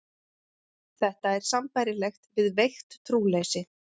Þetta er sambærilegt við veikt trúleysi.